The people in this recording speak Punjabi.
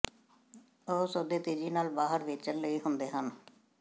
ਉਹ ਸੌਦੇ ਤੇਜ਼ੀ ਨਾਲ ਬਾਹਰ ਵੇਚਣ ਲਈ ਹੁੰਦੇ ਹਨ